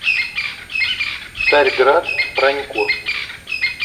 царьград пронько